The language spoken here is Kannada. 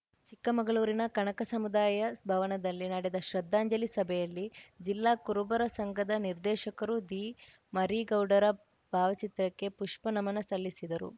ಚಿಕ್ಕಮಗಳೂರಿನ ಕನಕ ಸಮುದಾಯ ಭವನದಲ್ಲಿ ನಡೆದ ಶ್ರದ್ಧಾಂಜಲಿ ಸಭೆಯಲ್ಲಿ ಜಿಲ್ಲಾ ಕುರುಬರ ಸಂಘದ ನಿರ್ದೇಶಕರು ದಿಮರೀಗೌಡರ ಭಾವಚಿತ್ರಕ್ಕೆ ಪುಷ್ಪ ನಮನ ಸಲ್ಲಿಸಿದರು